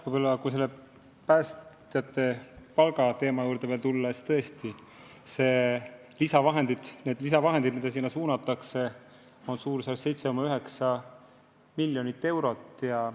Kui veel kord tulla päästjate palga juurde, siis lisaraha, mis sinna suunatakse, on 7,9 miljonit eurot.